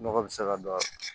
Nɔgɔ bɛ se ka don a la